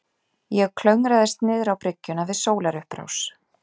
Ég klöngraðist niðrá bryggjuna við sólarupprás.